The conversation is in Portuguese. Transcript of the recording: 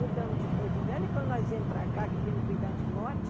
Mudamos de Porto Velho, e quando nós íamos para cá, que íamos cuidar de lote,